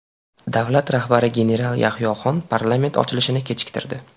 Davlat rahbari general Yahyoxon parlament ochilishini kechiktirdi.